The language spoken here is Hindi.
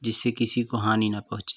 जिससे किसी को हानि न पोहचे ।